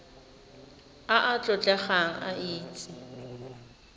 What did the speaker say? a a tlotlegang a itse